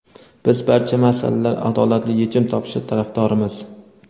biz barcha masalalar adolatli yechim topishi tarafdorimiz.